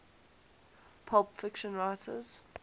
pulp fiction writers